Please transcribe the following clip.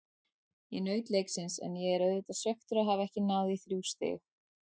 Ég naut leiksins en ég er auðvitað svekktur að hafa ekki náð í þrjú stig.